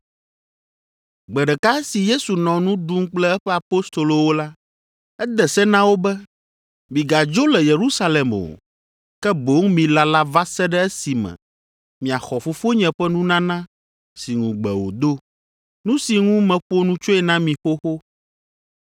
Gbe ɖeka esi Yesu nɔ nu ɖum kple eƒe Apostolowo la, ede se na wo be, “Migadzo le Yerusalem o, ke boŋ milala va se ɖe esime miaxɔ Fofonye ƒe nunana si ŋugbe wòdo, nu si ŋu meƒo nu tsoe na mi xoxo,